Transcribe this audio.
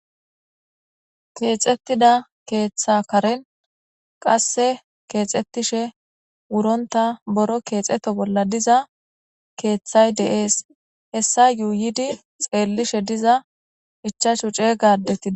Keexettida keeththa karen qasse keexettishe wuronta boro keexeto bolla diza keeththay deees hessa yuuyidi xeellishe diza ichashu cee gadetida.